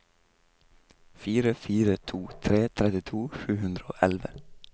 fire fire to tre trettito sju hundre og elleve